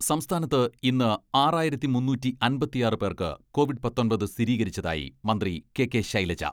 സംസ്ഥാനത്ത് ഇന്ന് ആറായിരത്തി മുന്നൂറ്റിയമ്പത്തിയാറ് പേർക്ക് കോവിഡ് പത്തൊമ്പത് സ്ഥിരീകരിച്ചതായി മന്ത്രി കെ.കെ. ശൈലജ